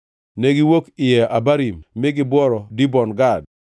Negiwuok Iye Abarim mi gibworo Dibon Gad.